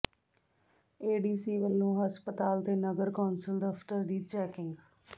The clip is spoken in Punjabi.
ਏਡੀਸੀ ਵੱਲੋਂ ਹਸਪਤਾਲ ਤੇ ਨਗਰ ਕੌਂਸਲ ਦਫ਼ਤਰ ਦੀ ਚੈਕਿੰਗ